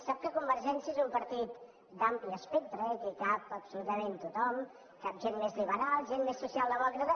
sap que convergència és un partit d’ampli espectre i que hi cap absolutament tothom hi cap gent més liberal gent més socialdemòcrata